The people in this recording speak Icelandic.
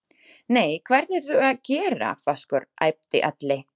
Nei, hvað ertu að gera, Vaskur, æpti Alli.